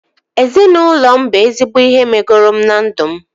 Ezinaụlọ m bụ ezigbo ihe megoro m na ndụ m